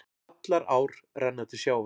Allar ár renna til sjávar.